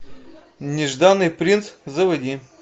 нежданный принц заводи